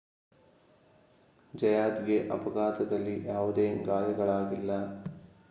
ಜಯಾತ್‌ಗೆ ಅಪಘಾತದಲ್ಲಿ ಯಾವುದೇ ಗಾಯಗಳಾಗಿಲ್ಲ